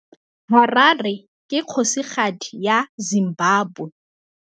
Harare ke kgosigadi ya Zimbabwe.